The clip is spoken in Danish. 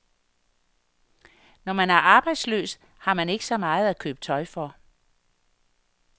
Når man er arbejdsløs, har man ikke så meget at købe tøj for.